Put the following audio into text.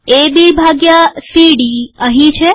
એ B ભાગ્યા C D અહીં છે